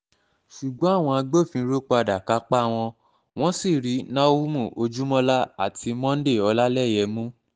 ṣùgbọ́n àwọn agbófinró padà kápá wọn wọ́n sì rí náhúmù ojúmọ́lá àti monday ọlálẹyé mú